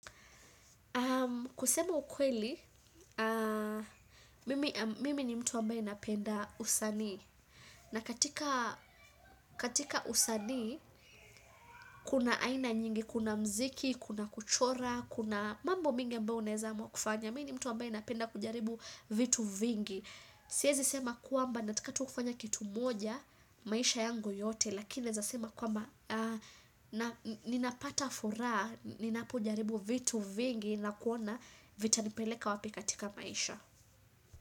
Kusema ukweli, mimi ni mtu ambaye napenda usanii. Na katika usanii, kuna aina nyingi, kuna muziki, kuna kuchora, kuna mambo mengi ambayo unaweza amua kufanya. Mimi ni mtu ambaye napenda kujaribu vitu vingi. Siwezi sema kwamba nataka tu kufanya kitu moja maisha yangu yote. Lakini naweza sema kwamba ninapata furaha ninapojaribu vitu vingi na kuona vitanipeleka wapi katika maisha.